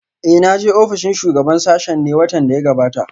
Eh na je ofishin shugaban sashen ne watan da ya gabata?